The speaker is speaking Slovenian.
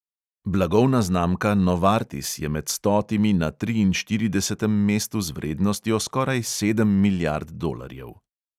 Blagovna znamka novartis je med stotimi na triinštiridesetem mestu z vrednostjo skoraj sedem milijard dolarjev.